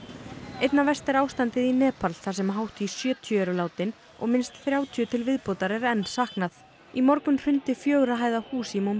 einna verst er ástandið í Nepal þar sem hátt í sjötíu eru látin og minnst þrjátíu til viðbótar er enn saknað í morgun hrundi fjögurra hæða hús í